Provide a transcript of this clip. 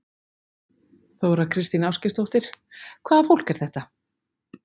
Þóra Kristín Ásgeirsdóttir: Hvaða fólk er þetta?